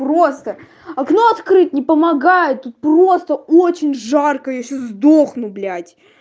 просто окно открыть не помогает тут просто очень жарко я сейчас сдохну блять